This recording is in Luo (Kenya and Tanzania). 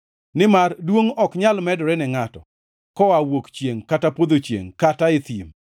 Nimar duongʼ ok nyal medore ne ngʼato koa wuok chiengʼ kata podho chiengʼ kata e thim.